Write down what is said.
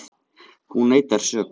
Hún neitar sök